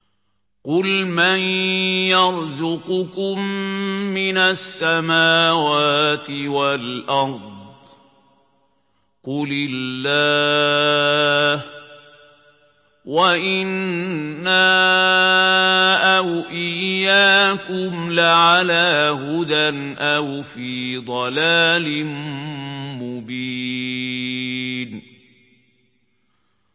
۞ قُلْ مَن يَرْزُقُكُم مِّنَ السَّمَاوَاتِ وَالْأَرْضِ ۖ قُلِ اللَّهُ ۖ وَإِنَّا أَوْ إِيَّاكُمْ لَعَلَىٰ هُدًى أَوْ فِي ضَلَالٍ مُّبِينٍ